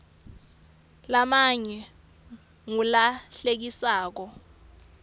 lamanye ngula hlekisako